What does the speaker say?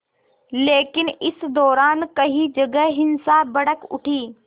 लेकिन इस दौरान कई जगह हिंसा भड़क उठी